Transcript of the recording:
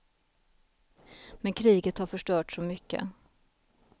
Men kriget har förstört så mycket.